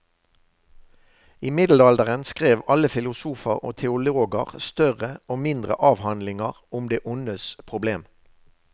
I middelalderen skrev alle filosofer og teologer større og mindre avhandlinger om det ondes problem.